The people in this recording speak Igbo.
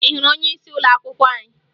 Ị hụrụ onyeisi ụlọakwụkwọ anyị?